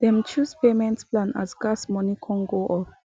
them chose payment plan as gas moni come go up